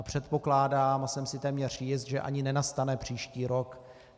A předpokládám a jsem si téměř jist, že ani nenastane příští rok.